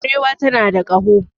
Barewa tana da kaho